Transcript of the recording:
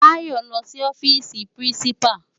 Bayo n lò si òfisi pirinsipá